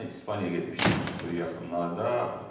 Gəlin mən İspaniyaya getmişdim bu yaxınlarda.